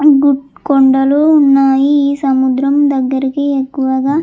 కొండలు ఉన్నాయ్ ఈ సముద్రం దగ్గరికి ఎక్కువగా --